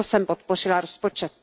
Proto jsem podpořila rozpočet.